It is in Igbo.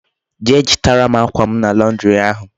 Jee chitara m akwa m na Londiri ahu